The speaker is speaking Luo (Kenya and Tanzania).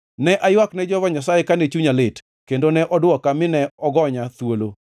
Ne aywak ne Jehova Nyasaye kane chunya lit, kendo ne odwoka mine ogonya thuolo.